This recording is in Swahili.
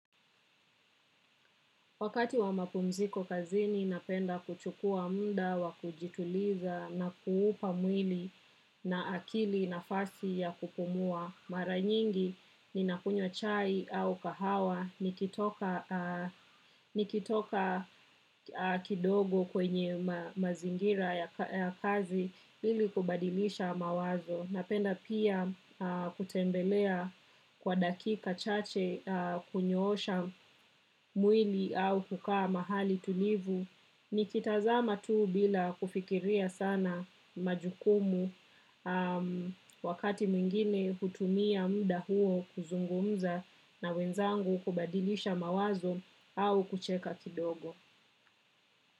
Wakati wa mapumziko kazini, napenda kuchukua muda wa kujituliza na kuupa mwili na akili nafasi ya kupumua. Mara nyingi ninakunywa chai au kahawa, nikitoka kidogo kwenye mazingira ya kazi ili kubadilisha mawazo. Napenda pia kutembelea kwa dakika chache kunyoosha mwili au kukaa mahali tulivu. Nikitazama tu bila kufikiria sana majukumu napenda pia kutembelea kwa dakika chache kunyoosha mwili au hukaa mahali tulivu.